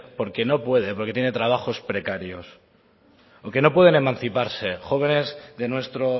porque no puede porque tienen trabajos precarios o que no pueden emanciparse jóvenes de nuestro